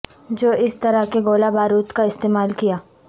جو اس طرح کے گولہ بارود کا استعمال کیا